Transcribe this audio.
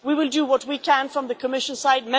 We will do what we can from the Commission side.